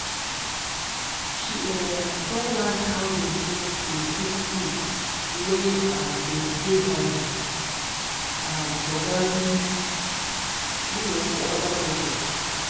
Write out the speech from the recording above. she um don learn how dem take dey cook food wey um dey dey healthy um for healthy um for other cultures.